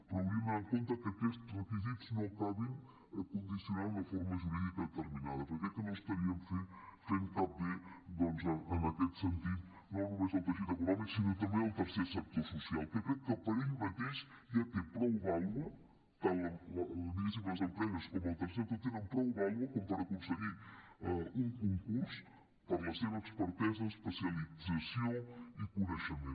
però hauríem d’anar amb compte que aquests requisits no acabin condicionant una forma jurídica determinada perquè crec que no estaríem fent cap bé doncs en aquest sentit no només al teixit econòmic sinó també al tercer sector social que crec que per ell mateix ja té prou vàlua tant diguéssim les empreses com el tercer sector tenen prou vàlua com per aconseguir un concurs per la seva expertesa especialització i coneixement